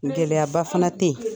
Gɛlɛyaba fana tɛ ye